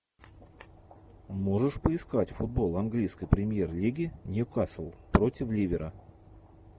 можешь поискать футбол английской премьер лиги ньюкасл против ливера